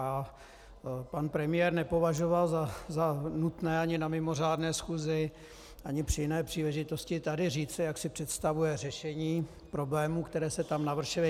A pan premiér nepovažoval za nutné ani na mimořádné schůzi ani při jiné příležitosti tady říci, jak si představuje řešení problémů, které se tam navršily.